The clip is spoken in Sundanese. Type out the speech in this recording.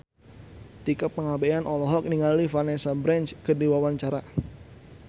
Tika Pangabean olohok ningali Vanessa Branch keur diwawancara